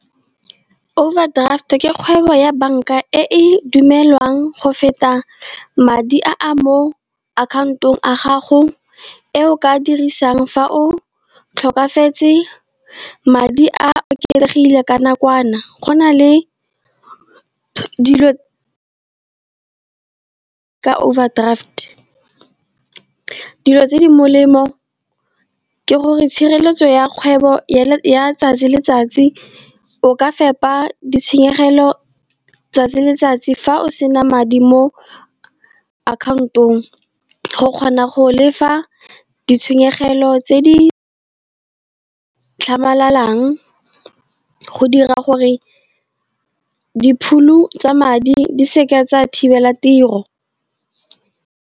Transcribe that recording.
Overdraft ke kgwebo ya bank-a e E dumelwang go feta madi a a mo account-ong a gago e o ka dirisang fa o tlhokafetse. Madi a oketsegile ka nakwana, go na le dilo ka overdraft, dilo tse di molemo ke gore tshireletso ya kgwebo ya 'tsatsi le letsatsi. O ka fepa ditshenyegelo 'tsatsi le letsatsi fa o sena madi mo account-ong, go kgona go lefa ditshenyegelo tse di tlhamalalang, go dira gore di phulu tsa madi di seke tsa thibela tiro.